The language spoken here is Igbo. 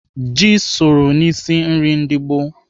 Ji soro n'isi nri ndị gboo.